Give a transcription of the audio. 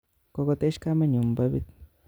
Kokotech kamenyun babit